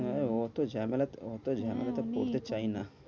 আরে অত ঝামেলাতে অত ঝামেলাতে পড়তে চাই না।